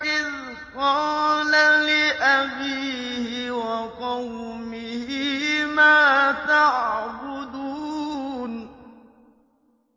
إِذْ قَالَ لِأَبِيهِ وَقَوْمِهِ مَا تَعْبُدُونَ